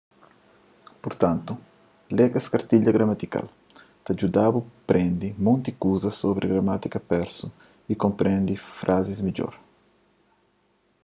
purtantu lê es kartilha gramatikal ta djuda-bu prende monti kuza sobri gramátika persu y konprende frazis midjor